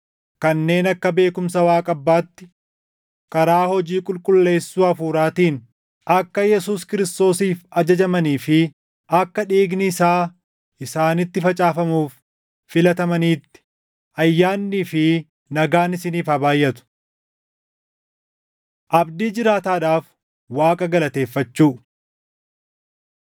kanneen akka beekumsa Waaqa Abbaatti, karaa hojii qulqulleessuu Hafuuraatiin, akka Yesuus Kiristoosiif ajajamanii fi akka dhiigni isaa isaanitti facaafamuuf filatamaniitti: Ayyaannii fi nagaan isiniif haa baayʼatu. Abdii Jiraataadhaaf Waaqa Galateeffachuu